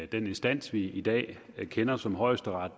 den instans vi i dag kender som højesteret